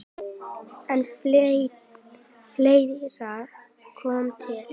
En fleira kom til.